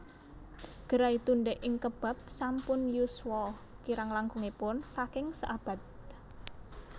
Gerai Tunde ing Kebab sampun yuswa kirang langkungipun saking seabad